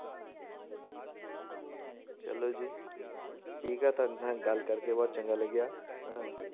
ਚਲੋ ਜੀ, ਠੀਕ ਆ ਤੁਹਾਡੇ ਨਾਲ ਗੱਲ ਕਰਕੇ ਬਹੁਤ ਚੰਗਾ ਲੱਗਿਆ ਹਾਂ